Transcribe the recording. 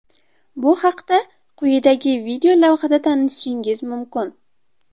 Bu haqda quyidagi videolavhada tanishishingiz mumkin.